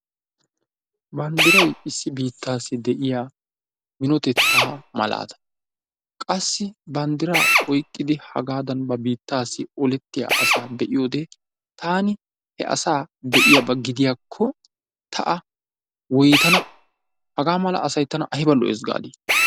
Banddirayi issi biittaassi de"iya minotettaa malaata. Qassi banddiraa oyqqidi hagaan ba biittaassi olettiya asaa be"iyode taani he asaa be"iyaba gidiyaakko ta a woytana. Hagaa mala asayi tana ayba lo"es gaadii.